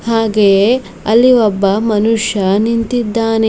ಹಾಗೆಯೇ ಅಲ್ಲಿ ಒಬ್ಬ ಮನುಷ್ಯ ನಿಂತಿದ್ದಾನೆ.